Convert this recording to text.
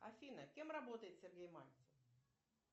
афина кем работает сергей мальцев